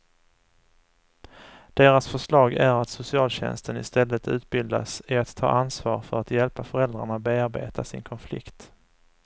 Deras förslag är att socialtjänsten istället utbildas i att ta ansvar för att hjälpa föräldrarna bearbeta sin konflikt.